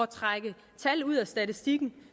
trække tal ud af statistikken